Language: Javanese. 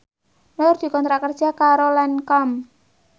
Nur dikontrak kerja karo Lancome